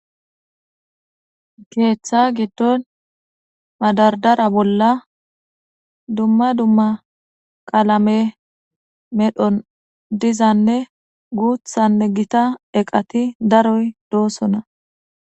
keeththa giddon madardara bolla dumma dumma qalame medhon dizanne guuthanne gita eqati daroy doosona